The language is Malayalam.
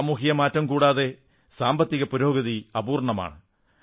സാമൂഹിക മാറ്റം കൂടാതെ സാമ്പത്തിക പുരോഗതി അപൂർണ്ണമാണ്